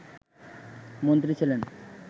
মন্ত্রী ছিলেন